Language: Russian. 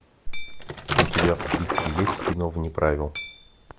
у тебя в списке есть кино вне правил